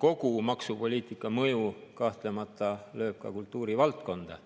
kogu maksupoliitika mõju kahtlemata lööb ka kultuurivaldkonda.